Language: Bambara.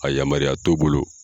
A yamaruya t'o bolo.